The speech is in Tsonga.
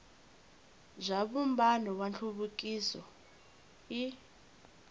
bya vumbano wa nhluvukiso i